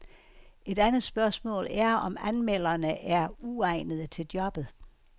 Et andet spørgsmål er, om anmelderne er uegnede til jobbet.